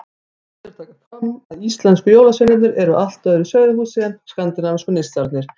Rétt er að taka fram að íslensku jólasveinarnir eru af öðru sauðahúsi en skandinavísku nissarnir.